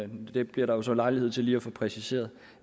men det bliver der jo så lejlighed til lige at få præciseret